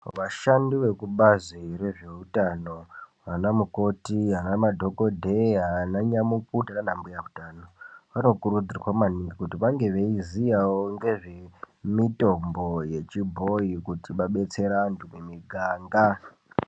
Vashandi vekubazi rezveutano vana mukoti vanamadhokoteya, vananyamukuta nana mbuya utano vanokurudzirwa maningi kuti vange veiziyawo ngezvemitombo yechibhoyi kuti vabetsere vantu mumiganga.